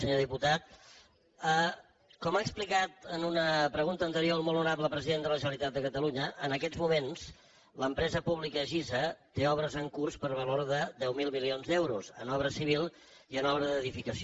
senyor diputat com ha explicat en una pregunta anterior el molt honorable president de la generalitat de catalunya en aquests moments l’empresa pública gisa té obres en curs per valor de deu mil milions d’euros en obra civil i en obra d’edificació